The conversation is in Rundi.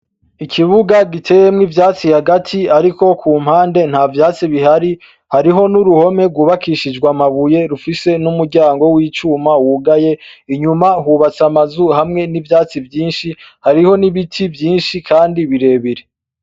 Ikibuga giteyemwo ivyatsi hagati ariko kumpande ntavyatsi Bihari hariho n'uruhome rwubakishijwe amabuye ruhari rufise n'umuryango wicuma wugaye inyuma hubatse amazu hamwe n'ivyatsi vyinshi hariho n'ibiti vyinshi kandi birebire.